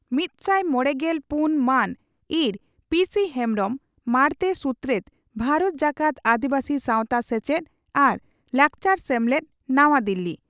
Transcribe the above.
ᱢᱤᱛᱥᱟᱭ ᱢᱚᱲᱮᱜᱮᱞ ᱯᱩᱱ ᱢᱟᱱ (ᱤᱸᱨ) ᱯᱤᱹᱥᱤᱹ ᱦᱮᱢᱵᱽᱨᱚᱢ, ᱢᱟᱬᱛᱮ ᱥᱩᱛᱨᱮᱛ, ᱵᱷᱟᱨᱚᱛ ᱡᱟᱠᱟᱛ ᱟᱹᱫᱤᱵᱟᱹᱥᱤ ᱥᱟᱶᱛᱟ ᱥᱮᱪᱮᱫ ᱟᱨ ᱞᱟᱠᱪᱟᱨ ᱥᱮᱢᱞᱮᱫ, ᱱᱟᱣᱟ ᱫᱤᱞᱤ ᱾